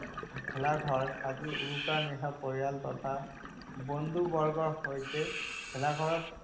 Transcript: ভেলাঘৰ সাজি উৰুকাৰ নিশা পৰিয়াল তথা বন্ধুবৰ্গৰ সৈতে ভেলাঘৰত